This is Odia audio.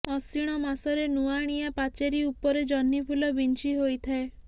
ଅଶିଣ ମାସରେ ନୁଆଁଣିଆ ପାଚେରୀ ଉପରେ ଜହ୍ନିଫୁଲ ବିଞ୍ଚି ହୋଇଥାଏ